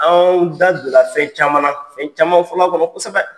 Anw da je la fɛn caman na fɛn caman fɔ la kɔnɔ kosɛbɛ.